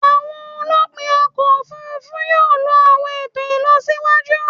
Awọn olupin ọkọ ofurufu yoo lo awọn eto ilọsiwaju